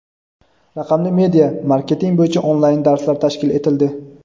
raqamli media /marketing bo‘yicha onlayn darslar tashkil etildi.